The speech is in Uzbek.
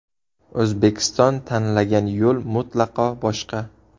O‘zbekiston tanlagan yo‘l mutlaqo boshqa.